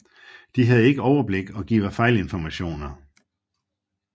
De havde ikke overblik og giver fejlinformationer